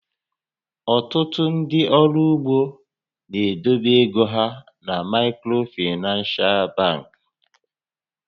Ọtụtụ ndị ọrụ ugbo na-edobe égo hà na Maịkrofinans bankị